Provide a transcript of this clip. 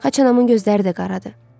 Xaçanamın gözləri də qaradır.